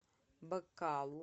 бакалу